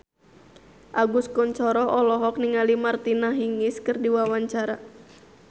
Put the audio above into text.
Agus Kuncoro olohok ningali Martina Hingis keur diwawancara